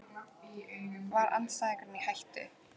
Var andstæðingurinn í hættu?